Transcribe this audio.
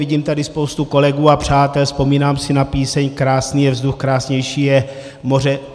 Vidím tady spoustu kolegů a přátel, vzpomínám si na píseň: Krásný je vzduch, krásnější je moře.